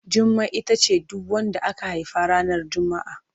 Jummai ita ce duk wadda aka haifa ranar Juma'a.